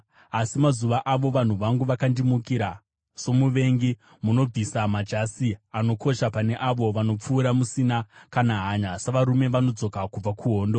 Asi mazuva ano vanhu vangu vakandimukira somuvengi. Munobvisa majasi anokosha pane avo vanopfuura musina kana hanya, savarume vodzoka kubva kuhondo.